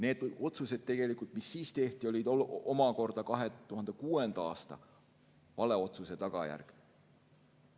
Need otsused, mis siis tehti, olid omakorda 2006. aasta vale otsuse tagajärg.